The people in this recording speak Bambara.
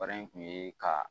Baara in kun ye ka